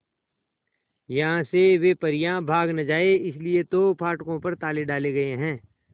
यहां से वे परियां भाग न जाएं इसलिए तो फाटकों पर ताले डाले गए हैं